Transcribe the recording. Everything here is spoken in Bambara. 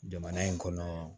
Jamana in kɔnɔ